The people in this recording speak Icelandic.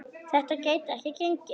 Þetta gæti ekki gengið.